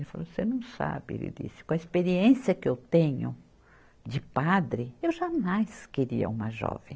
Ele falou, você não sabe, ele disse, com a experiência que eu tenho de padre, eu jamais queria uma jovem.